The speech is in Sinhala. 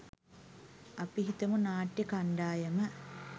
අපි හිතමු නාට්‍ය කණ්ඩායම